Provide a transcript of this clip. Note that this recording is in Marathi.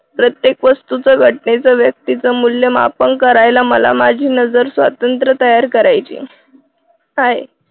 प्रत्येक वस्तूच घटनेच व्यक्तीच मूल्यमापन करायला मला माझी नजर स्वातंत्र्य तयार करायचे. आहे